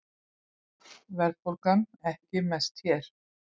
Verðbólgan ekki mest hér